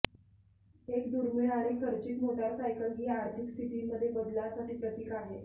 एक दुर्मिळ आणि खर्चिक मोटारसायकल ही आर्थिक स्थितीमध्ये बदलासाठी प्रतीक आहे